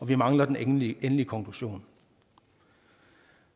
vi mangler den endelige endelige konklusion